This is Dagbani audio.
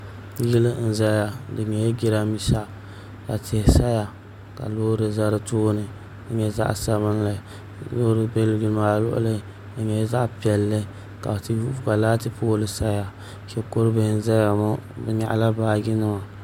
Yili n ʒɛya di nyɛla jiranbiisa ka tihi saya ka loori ʒɛ di tooni ka nyɛ zaɣ sabinli loori bɛ yili maa luɣuli di nyɛla zaɣ piɛlli ka laati pool saya shikuru bihi n ʒɛya ŋo bi nyaɣala baaji nima